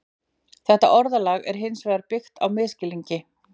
Þetta orðalag er hins vegar byggt á misskilningi.